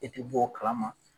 E ti bɔ o kalama!